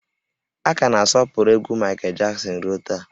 A ka na-asọpụrụ egwú Maịkel Jaksin ruo taa